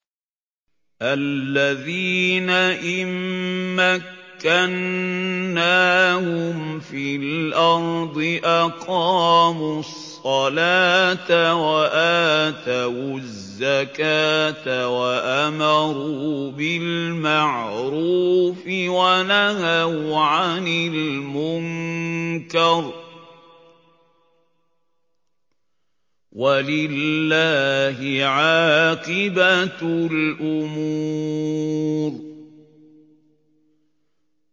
الَّذِينَ إِن مَّكَّنَّاهُمْ فِي الْأَرْضِ أَقَامُوا الصَّلَاةَ وَآتَوُا الزَّكَاةَ وَأَمَرُوا بِالْمَعْرُوفِ وَنَهَوْا عَنِ الْمُنكَرِ ۗ وَلِلَّهِ عَاقِبَةُ الْأُمُورِ